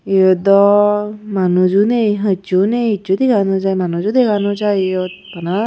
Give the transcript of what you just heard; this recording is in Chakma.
Iyot do manujo nei hissu nei hissu dega no jai manujo dega no jai iyot bana.